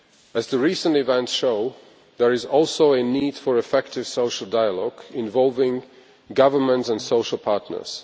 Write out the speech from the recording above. As recent events show, there is also a need for effective social dialogue involving governments and the social partners.